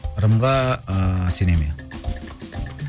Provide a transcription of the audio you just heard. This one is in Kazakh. ырымға ыыы сенемін иә